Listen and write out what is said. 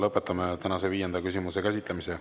Lõpetame tänase viienda küsimuse käsitlemise.